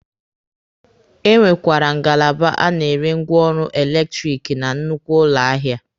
E nwekwara ngalaba a na-ere ngwaọrụ eletiriki na nnukwu ụlọ ahịa.